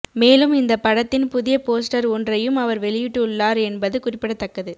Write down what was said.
மேலும் இந்த படத்தின் புதிய போஸ்டர் ஒன்றையும் அவர் வெளியிட்டுள்ளார் என்பது குறிப்பிடத்தக்கது